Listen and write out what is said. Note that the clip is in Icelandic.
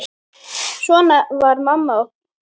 Svona var mamma okkar.